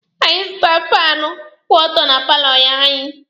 Anyị zụtara faanụ kwụ ọtọ na paalọ anyị.